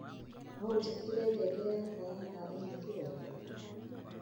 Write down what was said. no unjikerere ngengere yakwa ya thaa imwe kiroko